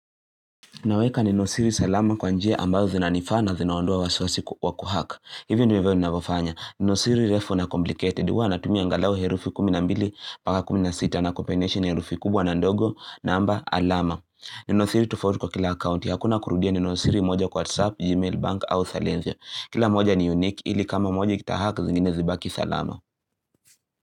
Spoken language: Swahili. Naweka ninosiri salama kwa njia ambayo zinanifaa na zinaondoa waisiwasi ku hack. Hivyo ndo ndivyo ninavyofanya. Ninosiri refu na complicated. Huwa na tumia angalau herufi kumi na mbili mbaka kumi na sita na kupenyesha herufi kubwa na ndogo namba alama. Ninosiri tufauti kwa kila akaunti. Hakuna kurudia ninosiri moja kwa WhatsApp, Gmail, bank au sailencia. Kila moja ni unique ili kama moja kita hack zingine zibaki salama.